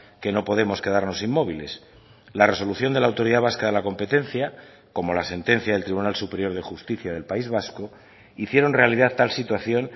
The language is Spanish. que no podemos quedarnos inmóviles la resolución de la autoridad vasca de la competencia como la sentencia del tribunal superior de justicia del país vasco hicieron realidad tal situación